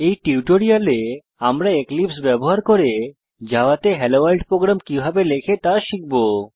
এই টিউটোরিয়ালে আমরা এক্লিপসে ব্যবহার করে জাভা তে হেলো ভোর্ল্ড প্রোগ্রাম কিভাবে লেখে তা শিখব